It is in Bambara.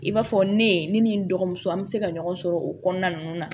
I b'a fɔ ne ye ne ni n dɔgɔmuso an bɛ se ka ɲɔgɔn sɔrɔ o kɔnɔna ninnu na